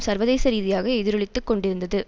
சர்வதேச ரீதியாக எதிரொலித்து கொண்டிருந்தது